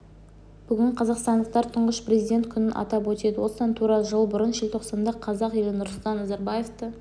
бүгін қазақстандықтар тұңғыш президент күнін атап өтеді осыдан тура жыл бұрын желтоқсанда қазақ елі нұрсұлтан назарбаевты